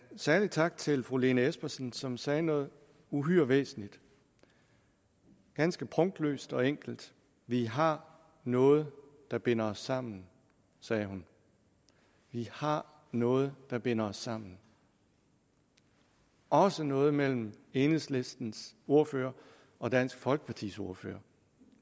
særlig tak til fru lene espersen som sagde noget uhyre væsentligt ganske prunkløst og enkelt vi har noget der binder os sammen sagde hun vi har noget der binder os sammen også noget mellem enhedslistens ordfører og dansk folkepartis ordfører